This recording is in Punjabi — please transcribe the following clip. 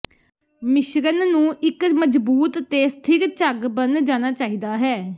ਮਿਸ਼ਰਣ ਨੂੰ ਇੱਕ ਮਜ਼ਬੂਤ ਤੇ ਸਥਿਰ ਝੱਗ ਬਣ ਜਾਣਾ ਚਾਹੀਦਾ ਹੈ